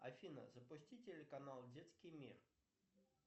афина запусти телеканал детский мир